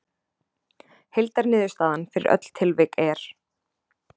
Heildarniðurstaðan fyrir öll tilvik er